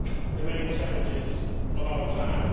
the main challenges of our time.